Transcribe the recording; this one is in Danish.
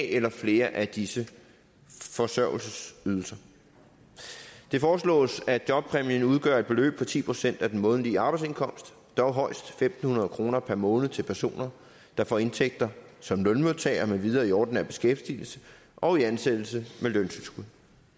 eller flere af disse forsørgelsesydelser det foreslås at jobpræmien udgør et beløb på ti procent af den månedlige arbejdsindkomst dog højst fem hundrede kroner per måned til personer der får indtægter som lønmodtager med videre i ordinær beskæftigelse og i ansættelse med løntilskud